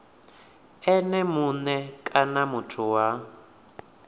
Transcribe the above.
ene mue kana muthu wa